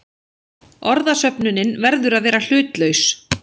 Orðasöfnunin verður að vera hlutlaus.